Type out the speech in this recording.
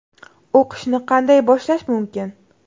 O‘qishni qanday boshlash mumkin?